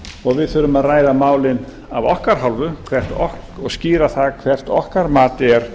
og við þurfum að ræða málin af okkar hálfu og skýra það hvert okkar mat er